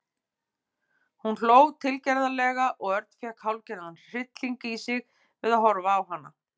Hún hló tilgerðarlega og Örn fékk hálfgerðan hrylling í sig við að horfa á hana.